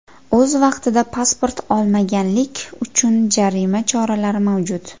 O‘z vaqtida pasport olmaganlik uchun jarima choralari mavjud.